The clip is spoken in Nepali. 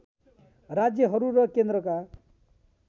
राज्‍यहरू र केन्द्रका